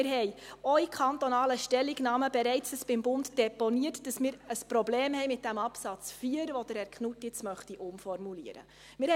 Wir haben in kantonalen Stellungnahmen auch bereits beim Bund deponiert, dass wir ein Problem mit diesem Absatz 4 haben, den Herr Knutti jetzt umformulieren möchte.